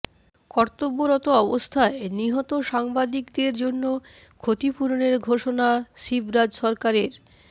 কর্তব্যরত অবস্থায় নিহত সাংবাদিকদের জন্য ক্ষতিপূরণের ঘোষণা শিবরাজ সরকারের